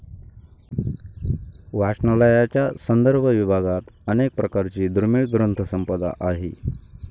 वाचनालयाच्या संदर्भ विभागात अनेक प्रकारची दुर्मिळ ग्रंथसंपदा आहे.